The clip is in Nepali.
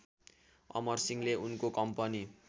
अमरसिंहले उनको कम्पनी